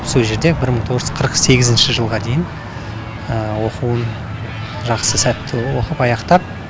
сол жерде бір мың тоғыз жүз қырық сегізінші жылға дейін оқуын жақсы сәтті оқып аяқтап